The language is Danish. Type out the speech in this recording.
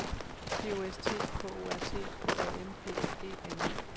P O S T K O R T K A M P A G N E